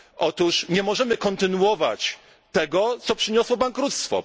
Otóż nie możemy kontynuować tego, co przyniosło bankructwo.